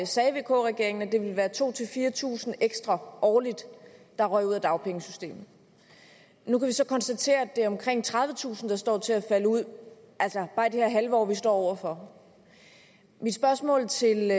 sagde vk regeringen at det ville være to tusind fire tusind ekstra årligt der røg ud af dagpengesystemet nu kan vi så konstatere at det er omkring tredivetusind der står til at falde ud altså bare i det her halve år vi står over for mit spørgsmål til